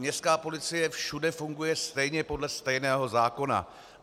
Městská policie všude funguje stejně podle stejného zákona.